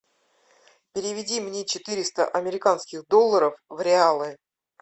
переведи мне четыреста американских долларов в реалы